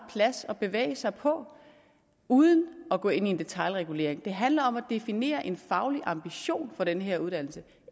plads at bevæge sig på uden at gå ind i en detailregulering det handler om at definere en faglig ambition for den her uddannelse